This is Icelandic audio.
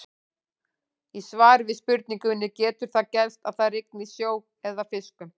Í svari við spurningunni Getur það gerst að það rigni sjó eða fiskum?